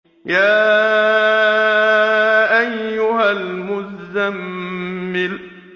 يَا أَيُّهَا الْمُزَّمِّلُ